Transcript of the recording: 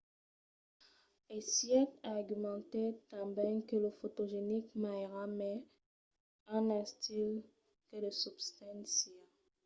hsieh argumentèt tanben que lo fotogenic ma èra mai un estil que de substància